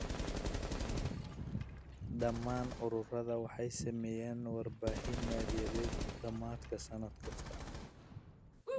Dhammaan ururadu waxay sameeyaan warbixin maaliyadeed dhammaadka sannad kasta.